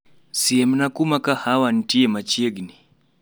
Siemna kuma kahawa ntie machiegni